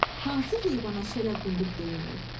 Hansı heyvana şələ quyruq deyirlər?